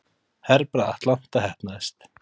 Herbragð Atlanta heppnaðist